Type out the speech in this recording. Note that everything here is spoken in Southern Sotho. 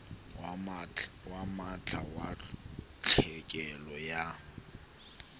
wa mantlha wa tlhekelo ya